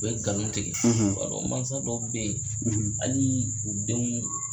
U bɛ nkalon tigɛ i b'o don mansa dɔw bɛ yen hali u denw